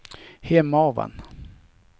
Hemavan